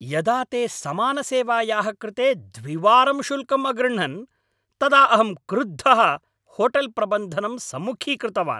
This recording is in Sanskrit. यदा ते समानसेवायाः कृते द्विवारं शुल्कम् अगृह्णन् तदाहं क्रुद्धः होटेल् प्रबन्धनं सम्मुखीकृतवान्।